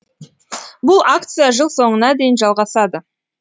бұл акция жыл соңына дейін жалғасады